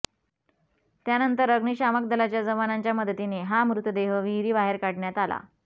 त्यानंतर अग्निशामक दलाच्या जवानांच्या मदतीने हा मृतदेह विहिरीबाहेर काढण्यात आला